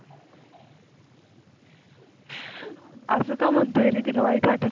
अस का म्हणतो रे तिला वाईट वाटन